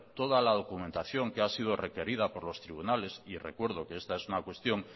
toda la documentación que ha sido requerida por los tribunales y recuerdo que esta es una cuestión